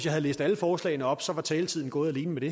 havde læst alle forslagene op så var taletiden gået alene med det